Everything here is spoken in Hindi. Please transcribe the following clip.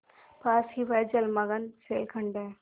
पास ही वह जलमग्न शैलखंड है